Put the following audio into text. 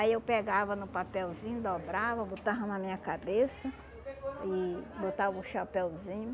Aí eu pegava no papelzinho, dobrava, botava na minha cabeça e botava o chapeuzinho.